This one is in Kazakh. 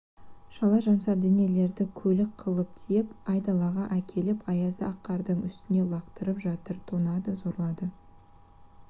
шала-жансар денелерді көлік кылып тиеп айдалаға әкетіп аязда ақ қардың үстіне лақтырып жатыр тонады зорлады